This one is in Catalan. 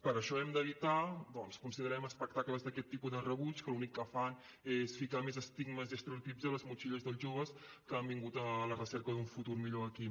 per això hem d’evitar doncs considerem espectacles d’aquest tipus de rebuig que l’únic que fan és ficar més estigmes i estereotips a les motxilles dels joves que han vingut a la recerca d’un futur millor aquí